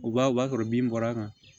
U b'a o b'a sɔrɔ bin bɔra a kan